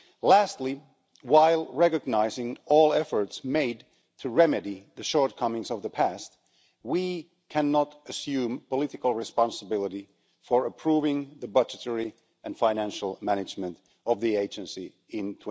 Lastly, while recognising all efforts made to remedy the shortcomings of the past, we cannot assume political responsibility for approving the budgetary and financial management of the agency in